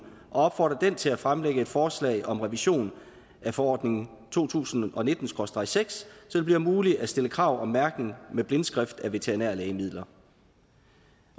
opfordre den til at fremlægge et forslag om revision af forordning to tusind og nitten SKRÅSTREG seks så det bliver muligt at stille krav om mærkning med blindskrift af veterinære lægemidler